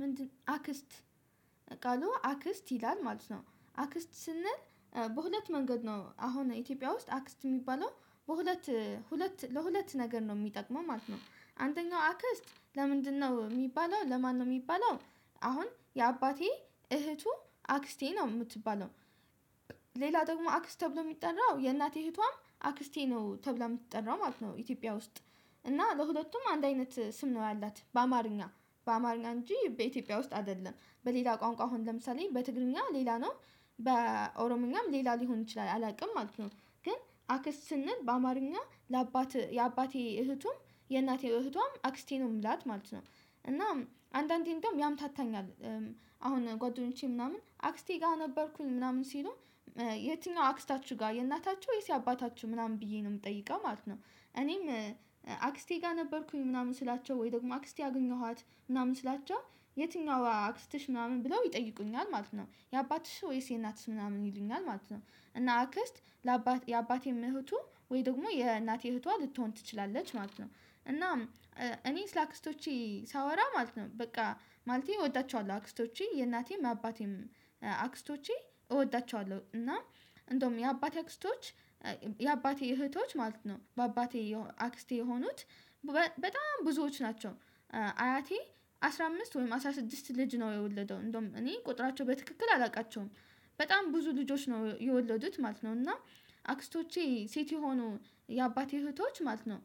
ምንድነው አክስት ቃሉ አክስት ይላል ማለት ነው። አክስት ስንል በሁለት መንገድ ነው አሁን ኢትዮጵያ ውስጥ አክስት የሚባለው። በሁለት ሁለት ለሁለት ነገር ነው የሚጠቅመው ማለት ነው። አንደኛው አክስት ለምንድነው የሚባለው ለማን ነው የሚባለው አሁን የአባቴ እህቱ አክስቴ ነው የምትባለው ሌላ ደግሞ አክስት ተብሎ የሚጠራው፣ የእናቴ ህቷም አክስቴ ነው ተብላ የምትጠራው ማለት ነው። ኢትዮጵያ ውስጥ እና ለሁለቱም አንድ አይነት ስም ነው ያላት። በአማርኛ በአማርኛ እንጂ በኢትዮጵያ ውስጥ አይደለም። በሌላ ቋንቋ አሁን ለምሳሌ፣ በትግርኛ፣ ሌላ ነው በኦሮምኛም፣ ሌላ ሊሆን ይችላል አላውቅም ማለት ነው። ግን አክስ ስንል በአማርኛ ለአባቴ የአባቴ እህቱም፣ የእናቴ እህቷም፣ አክስቴ ነው። የምላት ማለት ነው። እና አንዳንዴ እዶም ያምታታኛል አሁን ጓደኞቼ፣ ምናምን አክስቴ ጋር ነበርኩኝ። ምናምን ሲሉ ተየኛዋ አክስታችሁ ጋር የእናታችሁ ወይስ አባታችሁ? ምናምን ብዬ ነው የምጠይቀው ማለት ነው። እኔም አክስቴ ጋር ነበርኩኝ ምናምን ስላቸው ወይ ደግሞ አክስቴ አገኘኋት ምናምን ስላቻ የትኛው አክስትሽ ምናምን ብለው ይጠይቁኛል ማለት ነው። የአባትሽ ወይስ የናትሽ ምናምን ይሉኛል ማለት ነው። እና አክስት ለአባት የአባቴ እህቱ ወይ ደግሞ የእናቴ ህቷ ልትሆን ትችላለች ማለት ነው። እናም እኔ ስላክስቶቼ ሳወራ ማለት ነው። በቃ ማለቴ እወዳቸዋለሁ አክስቶቼ የእናቴም፣ አባቴም አክስቶቼ፣ እወዳቸዋለሁ እና እንደውም የአባቴ አክስቶች የአባቴ እህቶች ማለት ነው። በአባቴ አክስቴ የሆኑት በጣም ብዙዎች ናቸው። አያቴ አስራ አምስት ወይም አስራ ስድስት ልጅ ነው የወለደው። እንደውም እኔ ቁጥራቸው በትክክል አላውቃቸውም። በጣም ብዙ ልጆች ነው የወለዱት ማለት ነው። እና አክስቶቼ ሴት የሆኑ የአባቴ እህቶች ማለት ነው።